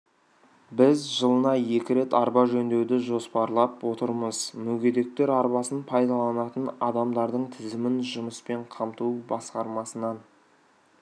біз жылына екі рет арба жөндеуді жоспарлап отырмыз мүгедектер арбасын пайдаланатын адамдардың тізімін жұмыспен қамту басқармасынан